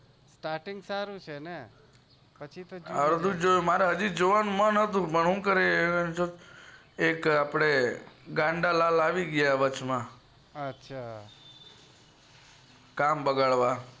starting સારું છે ને પછી તો શું જોવાનું મેં અર્ધું જોયું મારે હાજી જોવાનું મન હતું એક ગાંડાલાલ આવી ગયા વચમાં કામ બગાડ વા